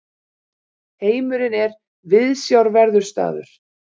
Heimurinn er viðsjárverður staður.